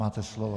Máte slovo.